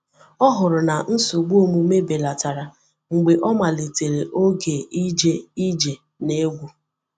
O hụrụ na nsogbu omume belatara mgbe ọ malitere oge ije ije na egwu.